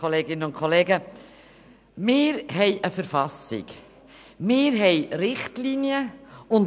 Wir haben eine Verfassung, und wir haben Richtlinien.